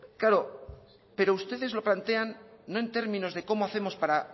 claro pero ustedes lo plantean no en términos de cómo hacemos para